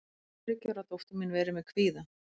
getur þriggja ára dóttir mín verið með kvíða